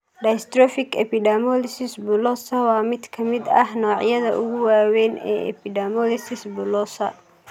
Dystrophic epidermolysis bullosa (DEB) waa mid ka mid ah noocyada ugu waaweyn ee epidermolysis bullosa.